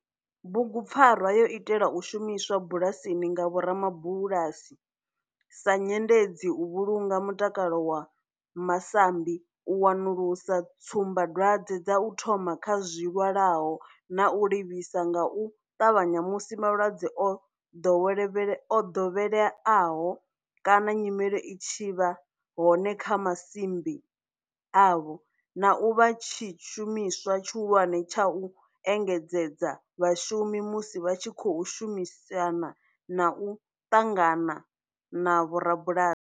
Bugu pfarwa yo itelwa u shumiswa bulasini nga vhoramabulasi sa nyendedzi u vhulunga mutakalo wa masambi, u wanulusa tsumbadwadzwe dza u thoma kha zwilwalaho na u livhisa nga u tavhanya musi malwadze o dovheleaho kana nyimele i tshi vha hone kha masimbi avho, na u vha tshishumiswa tshihulwane tsha u engedzedza vhashumi musi vha tshi khou shumisana na u ṱangana na vhorabulasi.